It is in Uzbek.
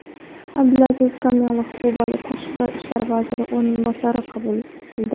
Abdulaziz Komilov Kuba tashqi ishlar vaziri o‘rinbosarini qabul qildi.